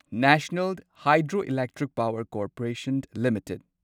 national Hydroelectric Power Corporation limited